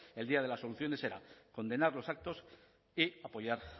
el día de las soluciones era condenar los actos y apoyar